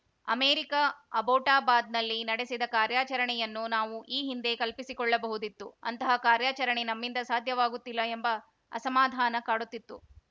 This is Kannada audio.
ಅಮೆರಿಕ ಅಬೋಟಾಬಾದ್‌ನಲ್ಲಿ ನಡೆಸಿದ ಕಾರ್ಯಾಚರಣೆಯನ್ನು ನಾವು ಈ ಹಿಂದೆ ಕಲ್ಪಿಸಿಕೊಳ್ಳಬಹುದಿತ್ತು ಅಂತಹ ಕಾರ್ಯಾಚರಣೆ ನಮ್ಮಿಂದ ಸಾಧ್ಯವಾಗುತ್ತಿಲ್ಲ ಎಂಬ ಅಸಮಾಧಾನ ಕಾಡುತ್ತಿತ್ತು